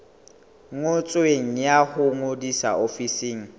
ngotsweng ya ho ngodisa ofising